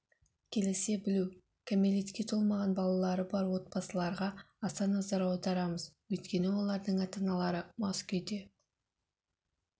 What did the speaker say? келісе білу кәмелетке толмаған балалары бар отбасыларға аса назар аударамыз өйткені олардың ата-аналары мас күйде